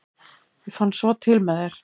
ég fann svo til með þér!